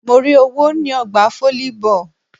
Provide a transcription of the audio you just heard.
Mo rí owó ní ọgbà volleyball.